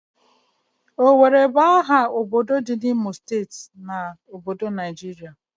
Owerri bu aha obodo di n'Imo steeti, Naijiria